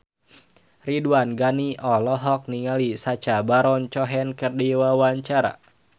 Ridwan Ghani olohok ningali Sacha Baron Cohen keur diwawancara